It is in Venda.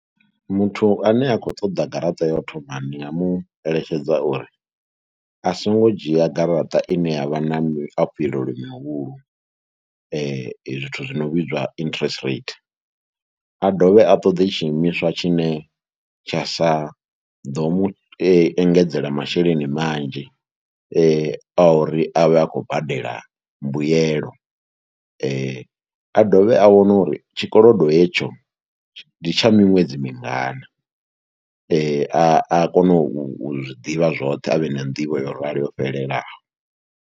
Muthu ane a khou ṱoḓa garaṱa ya u thoma ndi nga mu eletshedza uri a songo dzhia garaṱa ine ya vha na muafhilelo mihulu zwithu zwi no vhidzwa interest rate. A dovhe a ṱoḓi tshiimiswa tshine tsha sa ḓo mu engedzela masheleni manzhi ane a uri a vhe a khou badela mbuyelo, a dovhe a wane uri tshikolodo hetsho ndi tsha miṅwedzi mingana. A a kone u zwi ḓivha zwoṱhe a vhe na nḓivho yo rali yo fhelelaho.